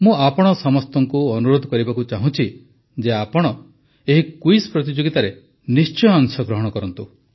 ମୁଁ ଆପଣ ସମସ୍ତଙ୍କୁ ଅନୁରୋଧ କରିବାକୁ ଚାହୁଁଛି ଯେ ଆପଣ ଏହି କୁଇଜ ପ୍ରତିଯୋଗିତାରେ ନିଶ୍ଚୟ ଅଂଶଗ୍ରହଣ କରନ୍ତୁ